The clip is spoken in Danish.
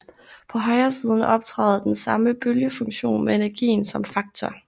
På højresiden optræder den samme bølgefunktion med energien som faktor